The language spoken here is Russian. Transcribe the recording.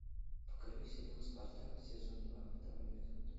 покажи сериал спартак сезон два второй эпизод